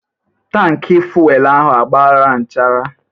Tankị fuelu ahụ a gbara nchara.